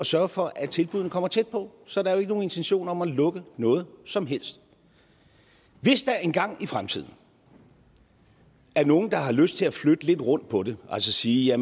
sørge for at tilbuddene kommer tæt på så der er jo ikke nogen intention om at lukke noget som helst hvis der engang i fremtiden er nogle der har lyst til at flytte lidt rundt på det altså sige at